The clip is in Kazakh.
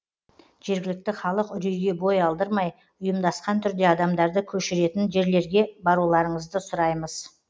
жергілікті халық үрейге бой алдырмай ұйымдасқан түрде адамдарды көшіретін жерлерге баруларыңызды сұраймыз